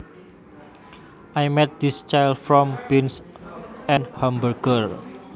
I made this chili from beans and hamburger